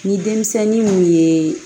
Ni denmisɛnnin mun ye